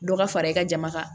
Dɔ ka fara i ka jama kan